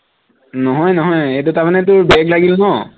নহয় নহয় এইটো তাৰমানে তোৰ back লাগিল ন